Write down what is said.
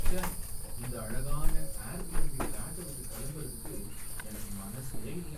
ச்சே! இந்த அழகான ஏர்பிஎன்பி ஃபிளாட்டை விட்டு கிளம்புறதுக்கு எனக்கு மனசே இல்ல.